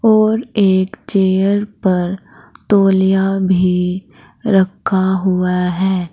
और एक चेयर पर तौलिया भी रखा हुआ है।